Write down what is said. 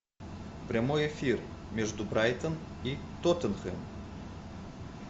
прямой эфир между брайтон и тоттенхэм